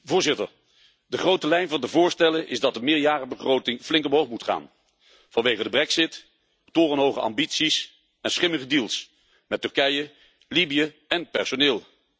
Voorzitter, de grote lijn van de voorstellen is dat de meerjarenbegroting flink omhoog moet gaan, vanwege de brexit, torenhoge ambities en schimmige deals met Turkije, Libië en personeel.